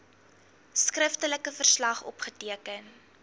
skriftelike verslag opgeteken